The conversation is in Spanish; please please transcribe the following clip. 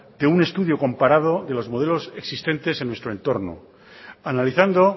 de un estudio comparado de los modelos existentes en nuestro entorno analizando